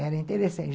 Era interessante.